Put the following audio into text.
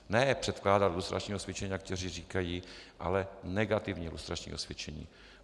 Ne předkládat lustrační osvědčení, jak někteří říkají, ale negativní lustrační osvědčení.